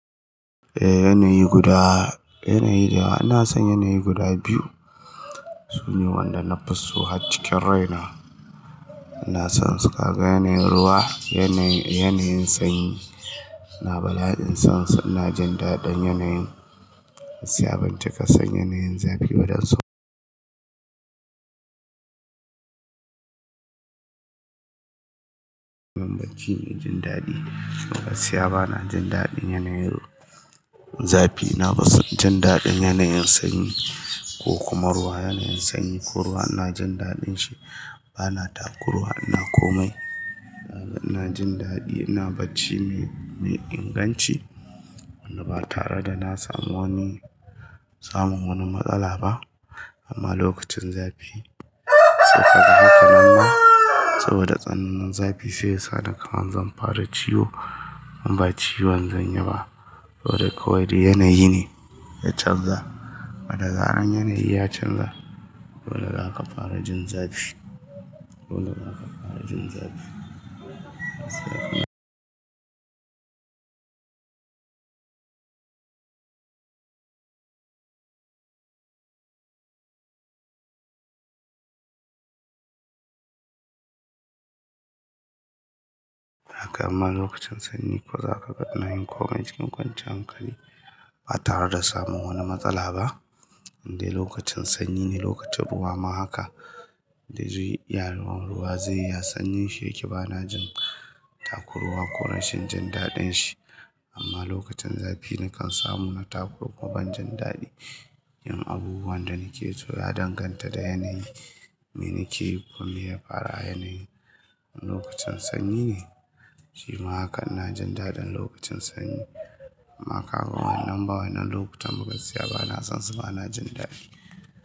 Eh yanayi guda, yanayi da ina son yanayi guda biyu. Su ne wanda na fi so har cikin rai na. Ina son su, kaga yanayin ruwa, yanayi, yanayin sanyi. Na bala'in son su, ina jin daɗin yanayin. Gaskiya ban cika son yanayin zafi ba, don su baki jin daɗi. Gaskiya bana jin daɗin yanayin zafi. Nafi son jin daɗin yanayin sanyi ko kuma ruwa. Yanayin sanyi ko ruwa ina jin daɗin shi. Bana takuruwa, ina komai. Ina jin daɗi, ina bacci mai, mai inganci. Wanda ba tare da na samu wani, samun wani matsala ba. Amma lokacin zafi, saika ga haka namma saboda tsanin zafi sai yasa ni kaman zan fara ciwo. In ba ciwon zan yi ba, to dai kawai dai yanayi ne ya canza. Wanda zarar yanayi ya canza, dole zaka fara jin zafi. Dole zaka fara jin zafi. Haka amma lokacin sanyi ko zaka ga ina yin komai cikin kwanciyar hankali ba tare da samun wani matsala ba. Indai lokacin sanyi ne lokacin ruwa ma haka. Indai zai iya ruwan ruwa zai yi, sanyi shi yake, bana jin takuruwa ko rashin jin daɗin shi. Amma lokacin zafi nakan samu na takuruwa ban jin daɗi. Yin abubuwan da nake so ya danganta da yanayin me nake yi kuma meya faru a yanayin lokacin sanyi ne. Shi ma hakan ina jin daɗin lokacin sanyi. Amma ka ga wannan ba wannan lokutan ba gaskiya bana son su bana jin daɗi.